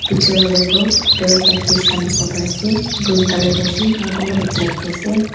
Pichi phale toh parrot laga cage khan dikhipole pari ase green colour dae ase aro kunaba toh black dae ase.